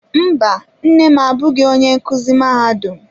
Mba, nne m abụghị onye nkuzi mahadum.